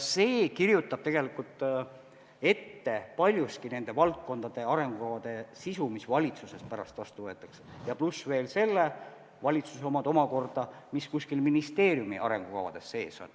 See kirjutab ette paljuski nende valdkondade arengukavade sisu, mis valitsuses pärast vastu võetakse, pluss veel selle valitsuse omad omakorda, mis kuskil ministeeriumide arengukavades sees on.